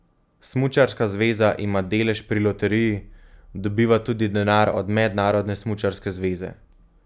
Smučarska zveza ima delež pri loteriji, dobiva tudi denar od Mednarodne smučarske zveze.